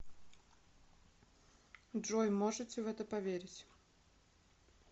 джой можете в это поверить